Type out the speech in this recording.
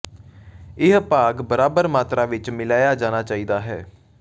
ਇਹ ਭਾਗ ਬਰਾਬਰ ਮਾਤਰਾ ਵਿੱਚ ਮਿਲਾਇਆ ਜਾਣਾ ਚਾਹੀਦਾ ਹੈ